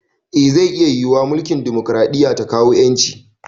Eh zai iya yiwuwa mulkin demokaraɗiya ta kawo ƴanci